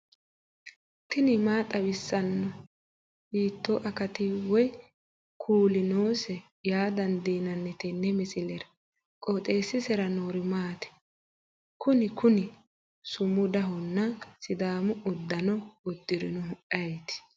tini maa xawissanno ? hiitto akati woy kuuli noose yaa dandiinanni tenne misilera? qooxeessisera noori maati? kuni kuni sumudahonna sidaamu uddano uddirinohu ayeeti